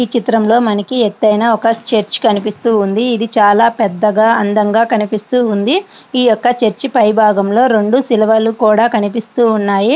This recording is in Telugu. ఈ చిత్రంలో మనకు ఎత్తైన ఒక చర్చ్ కనిపిస్తూ ఉంది. ఇది చాలా పెద్దగా అందంగా కనిపిస్తుంది. ఈ యొక్క చర్చి పై భాగంలో రెండు సిలువలు కూడా కనిపిస్తున్నాయి.